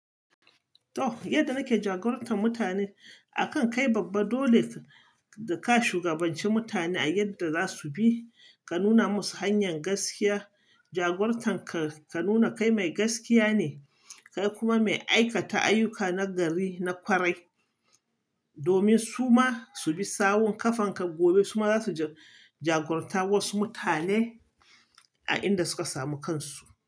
To, yadda nake jagorantar mutane akan kai babba dole ka shugabanci mutane a yadda za su bi, ka nuna musu hanyar gaskiya. Jagortanka ka nuna kai mai gaskiya ne, kai kuma mai aikata ayyuka na gari na ƙwarai, domin su ma su bi sawun ƙafanka. Gobe su ma za su jagoranta wasu mutane a inda suka samu kansu.